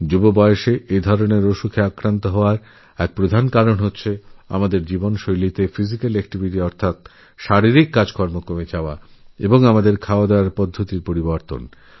কম বয়েসে এই সমস্ত রোগেআক্রান্ত হওয়ার প্রধান কারণ হল শারীরিক পরিশ্রমের ঘাটতি এবং খাদ্যাভ্যাসেরপরিবর্তন